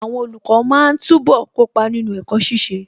Àwọn olùkọ́ máa túbọ̀ kópa nínú ẹ̀kọ́ ṣiṣẹ́.